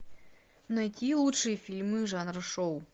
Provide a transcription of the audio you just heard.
найти лучшие фильмы жанра шоу